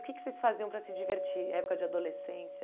O que que vocês faziam para se divertir na época de adolescência?